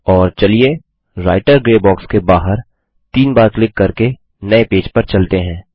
और चलिए writer grey box के बाहर तीन बार क्लिक करके नये पेज पर चलते हैं